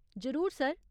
जरूर सर।